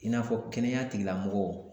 I n'a fɔ kɛnɛya tigilamɔgɔw